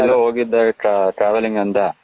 ನೆನ್ನೆ ಎಲ್ಲೋ ಹೋಗಿದ್ದೆ travelling ಅಂದೇ,